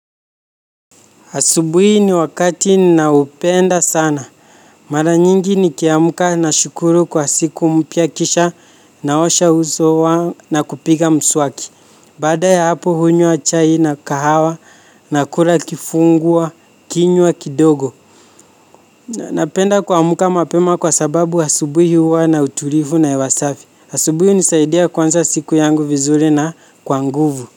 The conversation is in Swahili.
Asubuhi ni wakati naupenda sana. Mara nyingi nikiamuka nashukuru kwa siku mpia kisha naosha uso na kupiga mswaki. Bada ya hapo hunyua chai na kahawa na kula kifungua, kinyua kidogo. Napenda kwamuka mapema kwa sababu asubuhi huwa na uturifu na hewa safi. Asubuhi hunisaidia kwanza siku yangu vizuri na kwa nguvu.